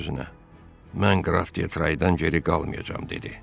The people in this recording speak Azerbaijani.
Öz-özünə: "Mən qraf Detraydan geri qalmayacam", dedi.